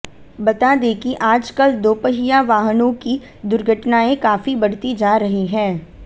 बता दें कि आजकल दोपहिया वाहनों की दुर्घटनाएं काफी बढ़ती जा रही हैं